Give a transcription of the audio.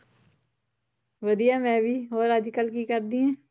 ਵਧੀਆ ਮੈਂ ਵੀ, ਹੋਰ ਅੱਜ ਕੱਲ੍ਹ ਕੀ ਕਰਦੀ ਹੈ?